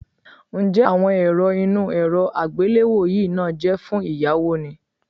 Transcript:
Ǹjẹ́ àwọn èrọ inú èrọ àgbéléwò yìí náà jẹ́ fún ìyáwó ni?